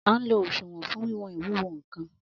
An lo òṣùwọ̀n fún wíwọn ìwúwo nkàn